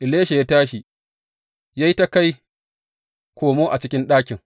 Elisha ya tashi, ya yi ta kai komo a cikin ɗakin.